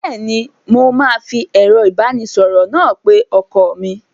Bẹ́ẹ́ni, mo máa fi ẹ̀rọ ìbánisọ̀rọ̀ náà pe ọkọ mi.